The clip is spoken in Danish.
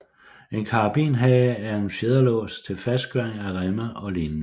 En karabinhage er en fjederlås til fastgøring af remme og lignende